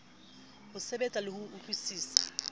o tseba le ho utlwisisa